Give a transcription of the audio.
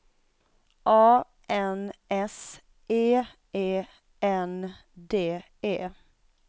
A N S E E N D E